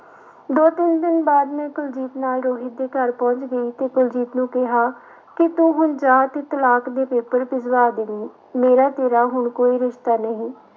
ਦੋ ਤਿੰਨ ਦਿਨ ਬਾਅਦ ਮੈਂ ਕੁਲਜੀਤ ਨਾਲ ਰੋਹਿਤ ਦੇ ਘਰ ਪਹੁੰਚ ਗਈ ਤੇ ਕੁਲਜੀਤ ਨੂੰ ਕਿਹਾ ਕਿ ਤੂੰ ਹੁਣ ਜਾ ਤੇ ਤਲਾਕ ਦੇ ਪੇਪਰ ਭਿਜਵਾ ਦੇਵੀਂ, ਮੇਰਾ ਤੇਰਾ ਹੁਣ ਕੋਈ ਰਿਸਤਾ ਨਹੀਂ।